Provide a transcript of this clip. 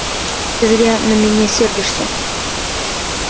ты зря на меня сердишься